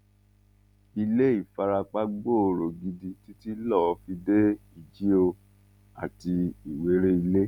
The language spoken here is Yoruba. ilé ìfarapa gbòòrò gidi títí lọọ fi dé ìjío àti ìwéréilé